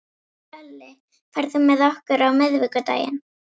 Hlölli, ferð þú með okkur á miðvikudaginn?